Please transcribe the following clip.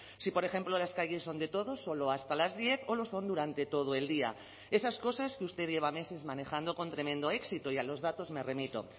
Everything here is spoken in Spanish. si por ejemplo las calles son de todos solo hasta las diez o lo son durante todo el día esas cosas que usted lleva meses manejando con tremendo éxito y a los datos me remito